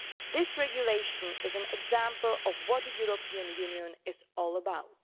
This regulation is an example of what the European Union is all about.